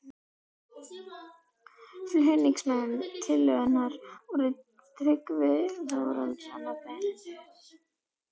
Flutningsmenn tillögunnar voru Tryggvi Þórhallsson og Benedikt